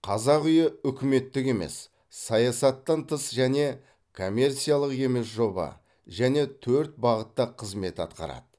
қазақ үйі үкіметтік емес саясаттан тыс және коммерциялық емес жоба және төрт бағытта қызмет атқарады